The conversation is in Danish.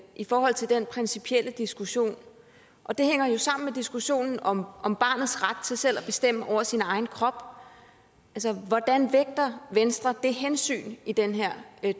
i forhold til den principielle diskussion det hænger jo sammen med diskussionen om om barnets ret til selv at bestemme over sin egen krop hvordan vægter venstre det hensyn i den her